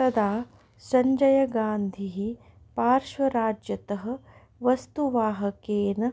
तदा सञ्जय गान्धिः पार्श्वराज्यतः वस्तुवाहकेन